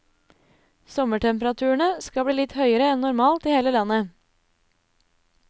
Sommertemperaturene skal bli litt høyere enn normalt i hele landet.